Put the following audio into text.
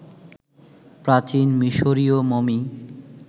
প্রাচীন মিশরীয় মমি